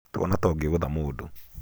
tuona ta ũngĩgũtha mũndũ